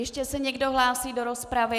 Ještě se někdo hlásí do rozpravy?